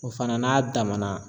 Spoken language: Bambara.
O fana n'a damana